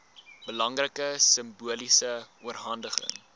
belangrike simboliese oorhandiging